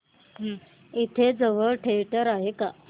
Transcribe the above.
इथे जवळ थिएटर आहे का